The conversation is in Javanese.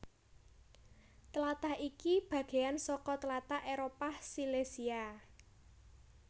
Tlatah iki bagéyan saka tlatah Éropah Silesia